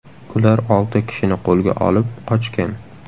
Ular olti kishini qo‘lga olib, qochgan.